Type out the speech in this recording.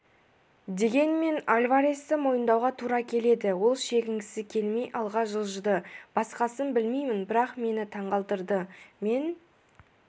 дегенмен альваресті мойындауға тура келеді ол шегінгісі келмей алға жылжыды басқасын білмеймін бірақ мені таңғалдырды мен